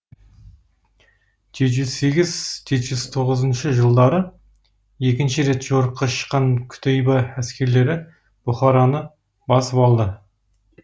жеті жүз сегіз жеті жүз тоғызыншы жылдары екінші рет жорыққа шыққан кутейба әскерлері бұхараны басып алды